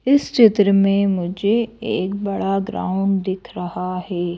इस चित्र में मुझे एक बड़ा ग्राउंड दिख रहा है।